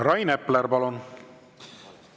Rain Epler, palun!